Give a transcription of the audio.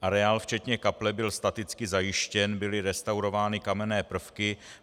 Areál včetně kaple byl staticky zajištěn, byly restaurovány kamenné prvky.